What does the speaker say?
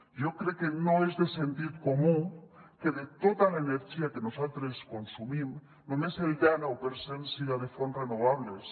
jo crec que no és de sentit comú que de tota l’energia que nosaltres consumim només el denou per cent siga de fonts renovables